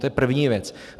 To je první věc.